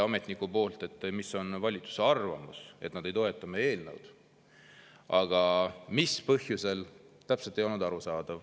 Ametnik küll kandis ette valitsuse arvamuse, et nad ei toeta meie eelnõu, aga mis põhjusel, täpselt ei olnud arusaadav.